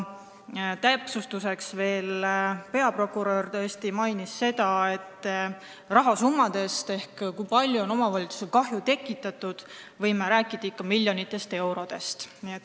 Täpsustuseks mainis veel peaprokurör rahasummade kohta ehk selle kohta, kui palju on omavalitsustele kahju tekitatud, et võib rääkida ikka miljonitest eurodest.